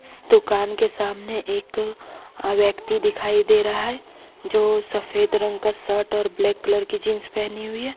इस दुकान के सामने एक व्यक्ति दिखाई दे रहा है जो सफेद रंग का शर्ट और ब्लैक कलर का जींस पहनी हुई है।